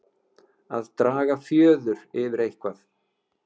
Að draga fjöður yfir eitthvað